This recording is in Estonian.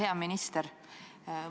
Hea minister!